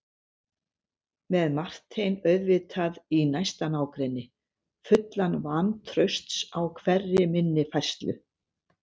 Með Martein auðvitað í næsta nágrenni, fullan vantrausts á hverri minni færslu.